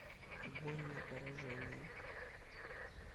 огонь на поражение